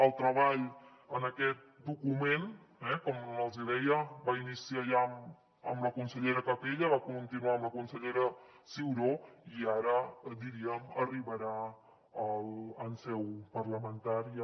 el treball en aquest document com els hi deia va començar ja amb la consellera capella i va continuar amb la consellera ciuró i ara diríem arribarà en seu parlamentària